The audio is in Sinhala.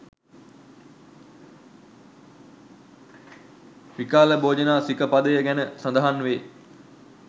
විකාල භෝජන සික පදය ගැන සඳහන් වේ.